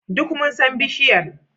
Duk mun san bishiyar.